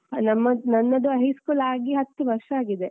ನಮ್ಮದ್ ನನ್ನದು high school ಆಗಿ ಹತ್ತು ವರ್ಷ ಆಗಿದೆ.